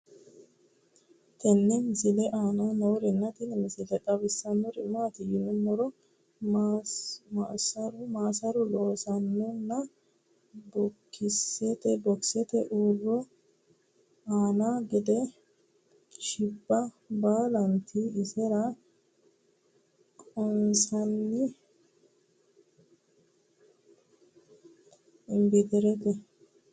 tenne misile aana noorina tini misile xawissannori maati yinummoro masaarru loosanonna bokisette huuro aanno gede shibba baallannta isera qansaanni inbentereetti